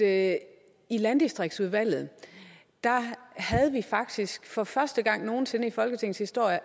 at i landdistriktsudvalget havde vi faktisk for første gang nogen sinde i folketingets historie